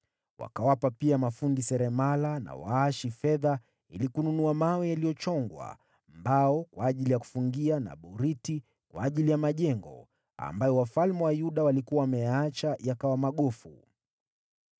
Wakawapa pia mafundi seremala na waashi fedha ili kununua mawe yaliyochongwa, mbao kwa ajili ya kufungia na boriti kwa ajili ya majengo ambayo wafalme wa Yuda walikuwa wameyaacha yakawa magofu.